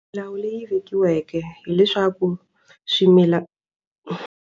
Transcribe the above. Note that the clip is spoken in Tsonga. Milawu leyi vekiweke hileswaku .